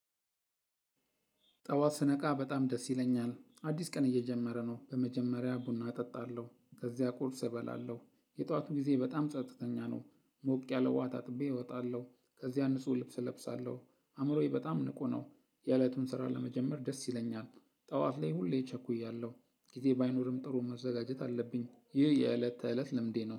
ጠዋት ስነቃ በጣም ደስ ይለኛል አዲስ ቀን እየጀመረ ነው በመጀመሪያ ቡና እጠጣለሁ ከዚያ ቁርስ እበላለሁ የጠዋቱ ጊዜ በጣም ጸጥተኛ ነው ሞቅ ያለ ውሃ ታጥቤ እወጣለሁ ከዚያ ንጹህ ልብስ እለብሳለሁ አእምሮዬ በጣም ንቁ ነው የእለቱን ስራ ለመጀመር ደስ ይለኛል። ጠዋት ላይ ሁሌ ቸኩያለሁ ጊዜ ባይኖርም ጥሩ መዘጋጀት አለብኝ። ይህ የእለት ተእለት ልምዴ ነው